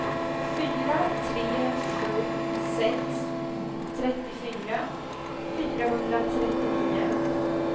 fyra tre sju sex trettiofyra fyrahundratrettionio